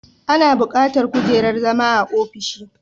Ana bukatar kujerar zama a ofishi